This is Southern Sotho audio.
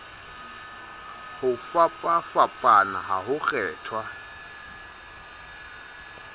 ho fapafapana ha ho kgethwa